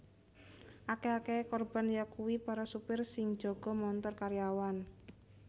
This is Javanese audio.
Akèh akèhé korban yakuwi para supir sing njaga montor karyawan